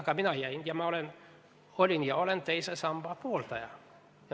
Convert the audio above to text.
Ka mina jäin – ma olin ja olen teise samba pooldaja.